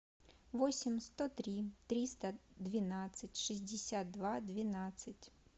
восемь сто три триста двенадцать шестьдесят два двенадцать